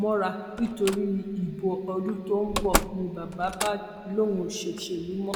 mọra nítorí ìbò ọdún tó ń bọ ni bàbá bá lóun ò ṣòṣèlú mọ